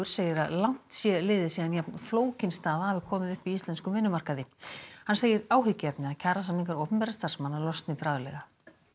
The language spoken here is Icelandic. segir að langt sé liðið síðan jafn flókin staða hafi komið upp á íslenskum vinnumarkaði hann segir áhyggjuefni að kjarasamningar opinberra starfsmanna losni bráðlega